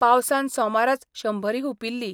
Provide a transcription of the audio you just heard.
पावसान सोमाराच शंभरी हुपिल्ली.